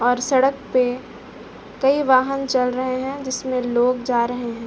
और सड़क पे कई वाहन चल रहे हैं जिसमे लोग जा रहे हैं।